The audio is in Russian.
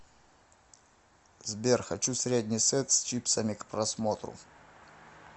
сбер хочу средний сет с чипсами к просмотру